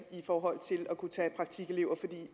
for at tage praktikelever